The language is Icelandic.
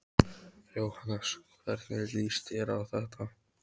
Jóhannes: Hvernig líst þér á þetta?